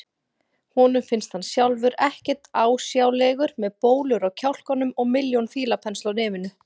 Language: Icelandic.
Honum finnst hann sjálfur ekkert ásjálegur með bólur á kjálkunum og milljón fílapensla á nefinu.